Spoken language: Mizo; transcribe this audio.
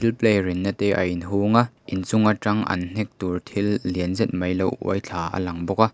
thil play rinna te a in hung a inchung atang an hnek tur thil lian zet mai lo uai thla a lang bawk a.